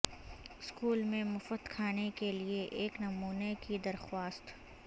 school میں مفت کھانے کے لئے ایک نمونہ کی درخواست